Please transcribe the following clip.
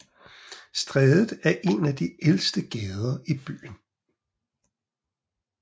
Strædet er en af de ældste gader i byen